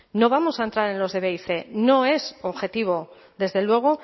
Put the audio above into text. no vamos a entrar en los de b y cien no es objetivo desde luego